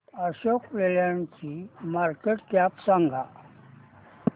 Ashok Leyland ची market cap सांगा